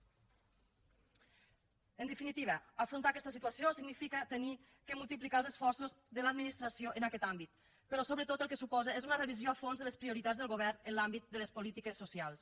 en definitiva afrontar aquesta situació significa haver de multiplicar els esforços de l’administració en aquest àmbit però sobretot el que suposa és una revisió a fons de les prioritats del govern en l’àmbit de les polítiques socials